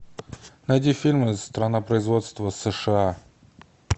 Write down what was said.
найди фильмы страна производства сша